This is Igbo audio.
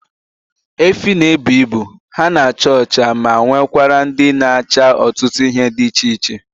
Efi na ebu ibu, ha na acha ọcha ma nwekwara ndị na acha ọtụtụ ihe dị iche iche